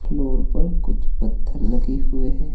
Floor पर कुछ पत्थर लगे हुए हैं।